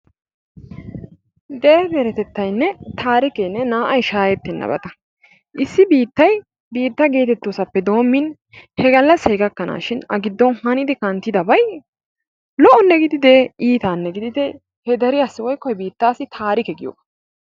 Dere deretettaynne taarikke naa''ay shaahettennabata, issi biittay biitta geetetoosappe doommin he galassay gakkanaashin a giddon hannid kanttidabay lo'onne gididee iitaanne gididee he deriyaassi woykko he biitaassi taarike giyoogaa.